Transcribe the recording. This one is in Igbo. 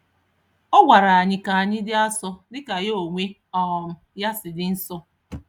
Ọ gwara anyị kanyi di asọ dika ya onwe um ya si dị nsọ